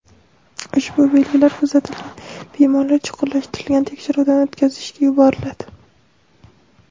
Ushbu belgilar kuzatilgan bemorlar chuqurlashtirilgan tekshiruvdan o‘tkazishga yuboriladi.